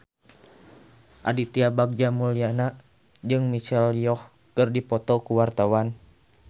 Aditya Bagja Mulyana jeung Michelle Yeoh keur dipoto ku wartawan